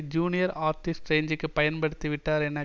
junior artist ரேஞ்சுக்கு பயன் படுத்திவிட்டார் என